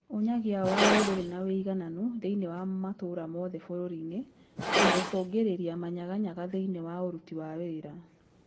Ũnyagia wao ndũrĩ na wũigananu thĩini wa matũra mothe bũrũri-inĩ na gũcũngĩrĩria manyaganyaga thĩinĩ wa ũruti wa wĩra